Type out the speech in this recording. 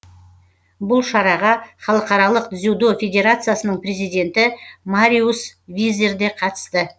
бұл шараға халықаралық дзюдо федерациясының президенті мариус визер де қатысты